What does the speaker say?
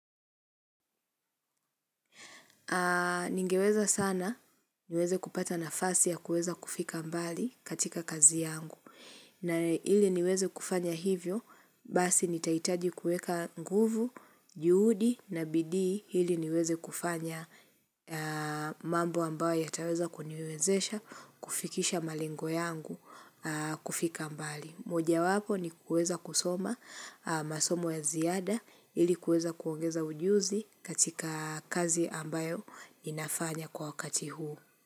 Ningeweza sana niweze kupata nafasi ya kuweza kufika mbali katika kazi yangu na ili niweze kufanya hivyo basi nitaitaji kueka nguvu, juhudi na bidii ili niweze kufanya mambo ambayo yataweza kuniwezesha kufikisha malengo yangu kufika mbali. Mojawapo ni kueza kusoma masomo ya ziada ili kueza kuongeza ujuzi katika kazi ambayo ninafanya kwa wakati huu.